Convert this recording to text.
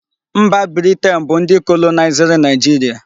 Mba Britian bu ndi kolonaiziri Naijiria